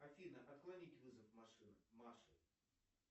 афина отклонить вызов маши